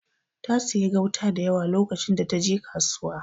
Ta siya gauta dayawa lokacin da taje kasuwa.